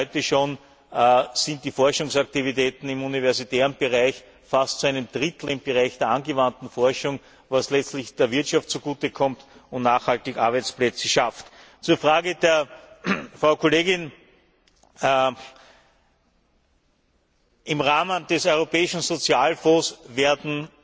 Denn heute schon befinden sich die Forschungsaktivitäten im universitären Bereich fast zu einem Drittel im Bereich der angewandten Forschung, was letztlich der Wirtschaft zugute kommt und nachhaltig Arbeitsplätze schafft. Zur Frage der Frau Kollegin Im Rahmen des Europäischen Sozialfonds werden